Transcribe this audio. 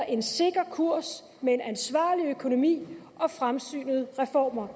en sikker kurs med en ansvarlig økonomi og fremsynede reformer